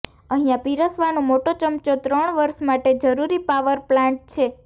અહીયા પીરસવાનો મોટો ચમચો ત્રણ વર્ષ માટે જરૂરી પાવર પ્લાન્ટ છે